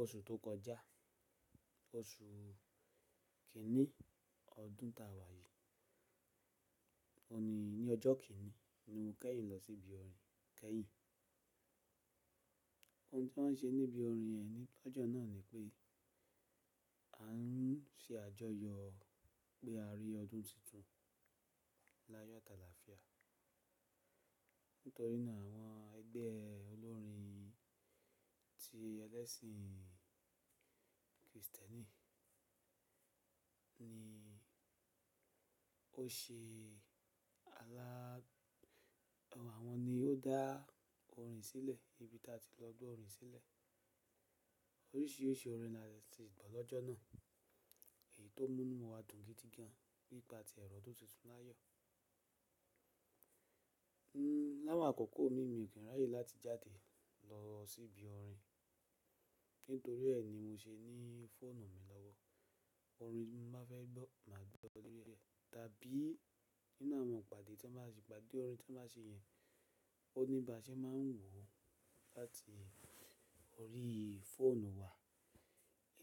Oṣù tó kọjá, oṣù kìíní ọdún ta wàyí, òní ni ọjọ́ kìíní ni mo kẹ́yìn lọ sí ibi orin kẹ́yìn. Ohun tí wọ́n ṣe níbi orin e ni lọ́jọ́ náà ni pé a ń ṣe àjọyọ̀ pé a rí ọdún titun láyọ̀ àtàlàfíà. Nítorí náà àwọn ẹgbẹ́ olórin ti ẹlẹ́sìn Kristẹni ni ó se alág Àwọn ni ó dá orin sílẹ̀ ibi tí a ti lọ gbọ́ orin sílẹ̀. Oríṣìíríṣìí orin ni a lè ti gbọ́ lọ́jọ́ náà èyí tó mú inú wa dùn gidi gan an nípa ti ẹ̀rọ ọdún titun láyọ̀. Hmm, láwọn àkọ́kọ́ mi, mi ò kí ń ráyè láti jáde lọ sí ibi orin. Nítorí ẹ ni mo ṣe ní fóònù mi lọ́wọ́ orin mo bá fẹ́ gbọ́ máa gbọ́ ó lórí bẹ́ẹ̀ tàbí nínú àwọn ìpàdé tí wọ́n bá ṣe, ìpàdé orin tí wọ́n bá ṣe yẹn, ó ní ibà ṣe máa ń wò ó láti orí fóònù wa.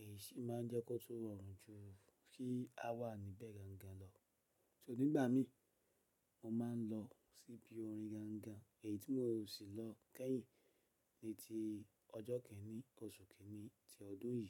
Èyí sì máa ń jẹ́ kó tó rọrùn ju kí a wà níbẹ̀ gangan lọ. So nígbà mi, mo máa ń lọ sí ibi orin gangan èyí tí mo ò sí lọ kẹ́yìn ni ti ọjọ́ kìíní oṣù kìíní ti ọdún yìí.